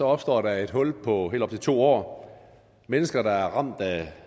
opstår der et hul på helt op til to år mennesker der er ramt af